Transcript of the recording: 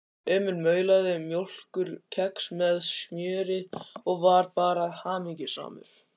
Emil maulaði mjólkurkex með smjöri og var bara hamingjusamur.